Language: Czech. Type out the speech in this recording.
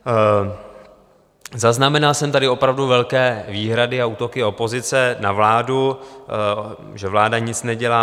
Zaznamenal jsem tady opravdu velké výhrady a útoky opozice na vládu, že vláda nic nedělá.